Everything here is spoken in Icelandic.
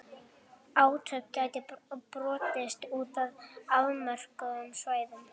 Átök gætu brotist út á afmörkuðum svæðum.